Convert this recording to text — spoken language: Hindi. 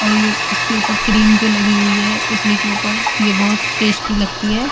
और ये इसके ऊपर क्रीम जो लगी हुई है इडली के ऊपर ये बहोत टेस्टी लगती है।